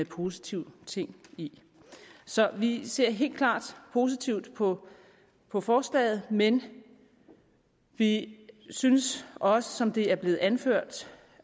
positive ting i så vi ser helt klart positivt på på forslaget men vi synes også som det er blevet anført